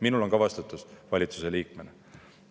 Minul on valitsuse liikmena ka vastutus.